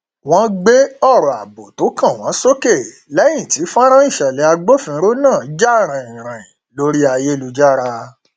wọn gbé ọrọ ààbò tó kàn wọn sókè lẹyìn tí fọnrán ìṣẹlẹ agbófinró náà jà ràìnràìn lórí ayélujára